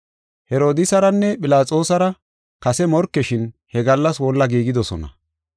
Herodiisaranne Philaxoosara kase morkeshin he gallas wolla giigidosona.